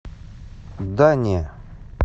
да не